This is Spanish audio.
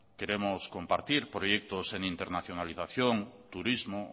queremos compartir proyectos en internacionalización turismo